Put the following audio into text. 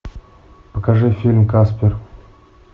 покажи фильм каспер